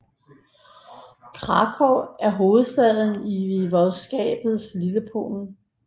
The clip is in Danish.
Kraków er hovedstad i voivodskabet Lillepolen